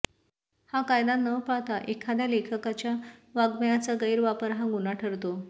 हा कायदा न पाळता एखाद्या लेखकाच्या वाङ्मयाचा गरवापर हा गुन्हा ठरतो